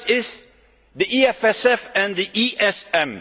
The first is the EFSF and the ESM.